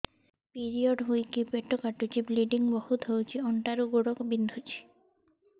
period ହୋଇକି ପେଟ କାଟୁଛି ବ୍ଲିଡ଼ିଙ୍ଗ ବହୁତ ହଉଚି ଅଣ୍ଟା ରୁ ଗୋଡ ବିନ୍ଧୁଛି